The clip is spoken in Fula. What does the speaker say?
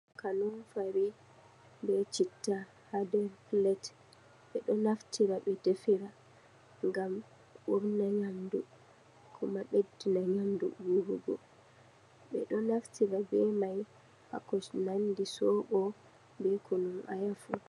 Kanumfari be citta, ha nder plet. Ɓe ɗo naftira ɓe defira ngam urna yamndu, kuma ɓeddina nyamdu urugo. Ɓe ɗo naftira be mai ha ko nandi soɓo, be kunun aya fu.